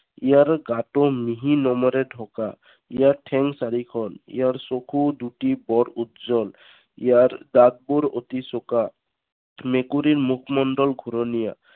ইয়াৰ গাটো মিহি নোমেৰে ঢকা। ইয়াৰ ঠেং চাৰিখন। ইয়াৰ চকু দুটি বৰ উজ্জ্বল। ইয়াৰ দাঁতবোৰ অতি চোকা। মেকুৰীৰ মুখমণ্ডল ঘুৰণীয়া।